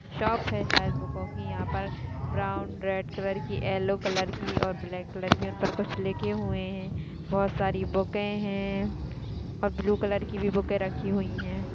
Shop है शायद बूकों की यहा पर ब्राउन रेड कलर की येल्लो कलर की और ब्लॅक कलर की उनपर कुछ लिखे हुए है बहुत सारी बूकें है और ब्लू कलर की भी बूकें रखी हुई है।